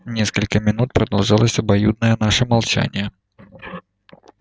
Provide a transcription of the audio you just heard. несколько минут продолжалось обоюдное наше молчание